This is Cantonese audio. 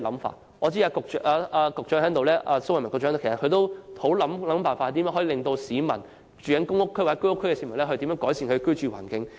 蘇偉文副局長現時在席，我知道他努力設法使居住在公屋或居屋的市民得以改善其居住環境。